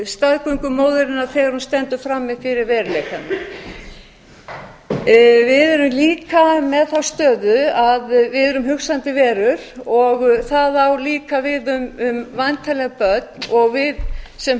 staðgöngumóðurinnar þegar hún stendur frammi fyrir veruleikanum við erum líka með þá stöðu að við erum hugsandi verur og það á líka við um væntanleg börn og við sem